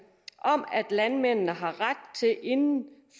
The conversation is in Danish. landmændene inden